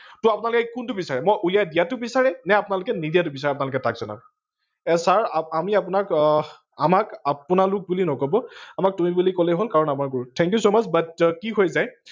তহ আপোনালোকে কোনটো বিচাৰে মই উলিয়াই দিয়াটো বিচাৰে নে আপোনালোকে নিদিয়াটো বিচাৰে আপোনালোকে তাৰ পাছত আহক। ছাৰ আমি আপোনাক, আমাক আপোনালোক বুলি নকব আমাক তুমি বুলি কলেই হল কাৰন আমাৰ গুৰু thank you so much but কি হৈ যায়